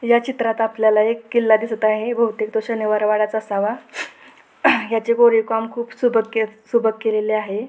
या चित्रात आपल्याला एक किल्ला दिसत आहे बहुतेक तो शनिवार वाडाच असावा याचे कोरीव काम खूप सुबक केलेले आहे.